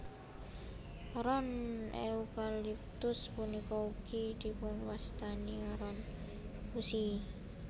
Ron eukaliptus punika ugi dipunwastani ron gusi